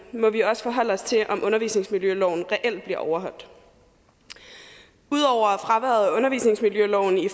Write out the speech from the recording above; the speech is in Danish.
må vi også forholde os til om undervisningsmiljøloven reelt bliver overholdt ud over fraværet af undervisningsmiljøloven i